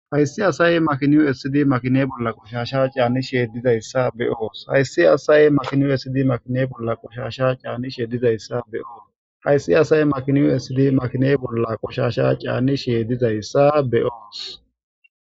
Hayssi asaye makinu sidi makine bolla qoshasha caanni sheedizayssa be oos hayssi asaye makinu ssid makine bolla qoshasha caanni sheedizayssa beoos hayssi asaye makinu sidi makine bolla qoshasha caani sheedizayssa be'os.